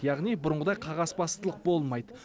яғни бұрынғыдай қағазбастылық болмайды